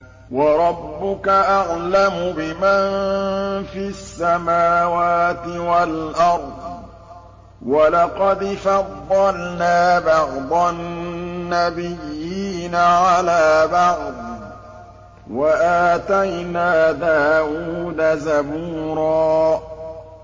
وَرَبُّكَ أَعْلَمُ بِمَن فِي السَّمَاوَاتِ وَالْأَرْضِ ۗ وَلَقَدْ فَضَّلْنَا بَعْضَ النَّبِيِّينَ عَلَىٰ بَعْضٍ ۖ وَآتَيْنَا دَاوُودَ زَبُورًا